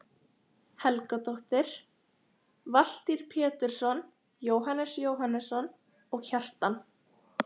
Helgadóttir, Valtýr Pétursson, Jóhannes Jóhannesson og Kjartan